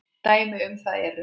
Dæmi um það eru